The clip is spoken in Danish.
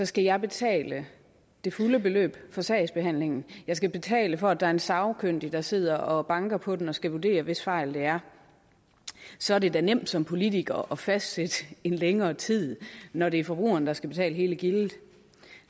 skal jeg betale det fulde beløb for sagsbehandlingen jeg skal betale for at der er en sagkyndig der sidder og banker på den og skal vurdere hvis fejl det er så er det da nemt som politiker at fastsætte en længere tid når det er forbrugeren der skal betale hele gildet